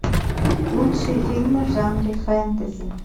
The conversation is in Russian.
лучшие фильмы в жанре фэнтези